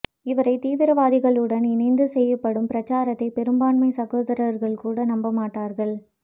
இவரை தீவிரவாதிகளுடன் இணைத்து செய்யப்படும் பிரச்சாரத்தை பெரும்பான்மை சகோதரர்கள் கூட நம்பமாட்டார்கள்